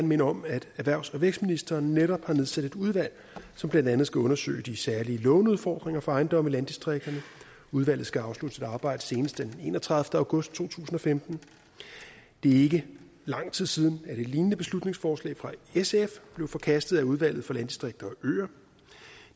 minde om at erhvervs og vækstministeren netop har nedsat et udvalg som blandt andet skal undersøge de særlige låneudfordringer for ejendomme i landdistrikterne udvalget skal afslutte sit arbejde senest den enogtredivete august to tusind og femten det er ikke lang tid siden at et lignende beslutningsforslag fra sf blev forkastet af udvalget for landdistrikter og øer